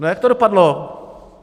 A jak to dopadlo?